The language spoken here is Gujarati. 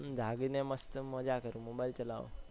જાગી ને મસ્ત મજ્જા કરું છુ mobile ચલાવું છુ